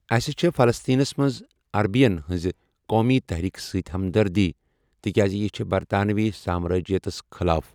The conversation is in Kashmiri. اَسہِ چھےٚ فَلسطیٖنس منٛز عربِین ہِنٛزِ قومی تحریٖکہِ سۭتۍ ہمدردی تِکیازِ یہِ چھےٚ برطانوی سامرٲجِیتس خٕلاف۔